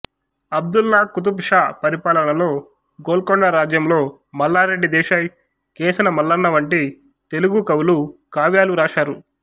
అబ్దుల్లా కుతుబ్ షా పరిపాలనలో గోల్కొండ రాజ్యంలో మల్లారెడ్డి దేశాయ్ కేశనమల్లన వంటి తెలుగు కవులు కావ్యాలు రాశారు